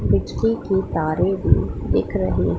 बिजली की तारे भी दिख रही--